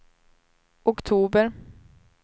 oktober